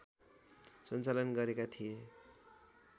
सञ्चालन गरेका थिए